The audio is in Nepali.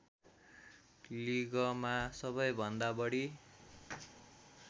लिगमा सबैभन्दा बढी